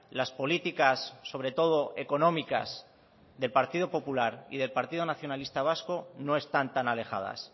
las políticas sobre todo económicas del partido popular y del partido nacionalista vasco no están tan alejadas